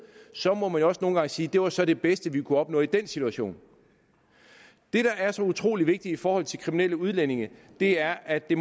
så må man jo også nogle gange sige det var så det bedste vi kunne opnå i den situation det der er så utrolig vigtigt i forhold til kriminelle udlændinge er at det